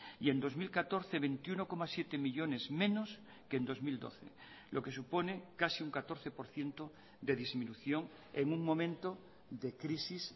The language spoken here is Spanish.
y en dos mil catorce veintiuno coma siete millónes menos que en dos mil doce lo que supone casi un catorce por ciento de disminución en un momento de crisis